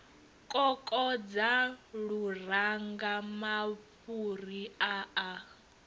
kokodza luranga mafhuri a a